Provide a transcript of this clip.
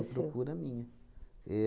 Procura minha.